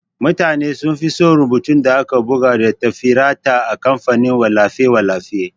Mutane sunfi son rubutun da aka buga da tafireta a kamfanin wallafe-wallafe.